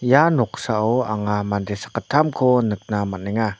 ia noksao anga mande sakgittamko nikna man·enga.